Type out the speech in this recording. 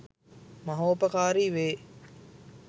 මහෝපකාරී වේ.